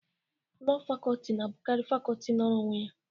Lọọ Facọlti na-abụkarị Facọlti nọrọ onwe ya.